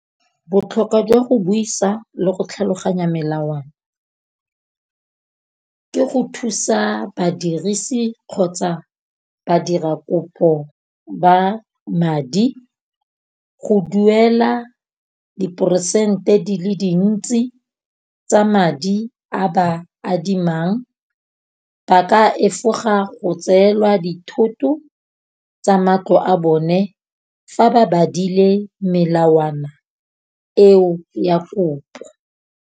Botlhokwa jwa go buisa le go tlhaloganya melawana, ke go thusa badirisi kgotsa badira kopo ba madi go duela diperesente di le dintsi tsa madi a ba adimang. Ba ka efoga go tseelwa dithoto tsa matlo a bone, fa ba badile melawana eo ya kopo.